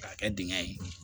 K'a kɛ dingɛ ye